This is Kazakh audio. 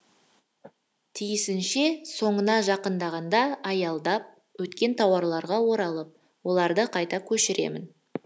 тиісінше соңына жақындағанда аялдап өткен тарауларға оралып оларды қайта көшіремін